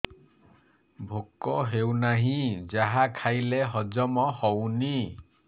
ଭୋକ ହେଉନାହିଁ ଯାହା ଖାଇଲେ ହଜମ ହଉନି